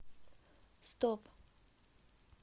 стоп